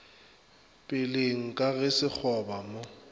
peleng ka ge sekgoba mo